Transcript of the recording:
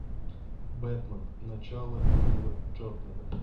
бэтмен начало нила джордана